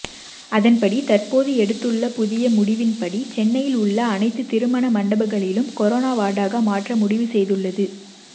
அதன்படி தற்போது எடுத்துள்ள புதிய முடிவின்படி சென்னையில் உள்ள அனைத்து திருமண மண்டபங்களிலும் கொரோனா வார்டாக மாற்ற முடிவு செய்துள்ளது